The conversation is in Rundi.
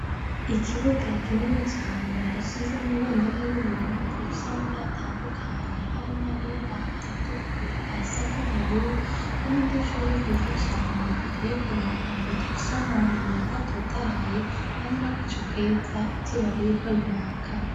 Ikibuga kinini cane hashinzemwo ibendera y'Uburundi ifise amabara atandukanye harimwo ayera, ayatukura, ayasa n'ubururu; Hari nudushurwe twiza cane duteye ku murongo, dufise amababi meza atotahaye, hari n'agacu keza izuba ririko riraka.